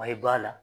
I b'a la